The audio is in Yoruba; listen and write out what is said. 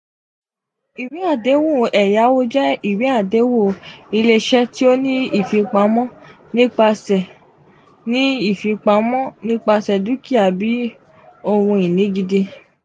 iweadehun eyawo jẹ iwe adehun ile-iṣẹ ti o ni ifipamo nipasẹ ni ifipamo nipasẹ dukia bii ohun-ini gidi.